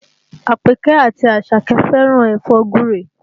Àpèkẹ́ àti Àṣàkẹ́ fẹ́ràn ẹ̀fọ́ gúre